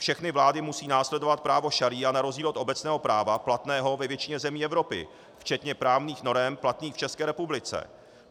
Všechny vlády musí následovat právo šaría na rozdíl od obecného práva platného ve většině zemí Evropy včetně právních norem platných v České republice.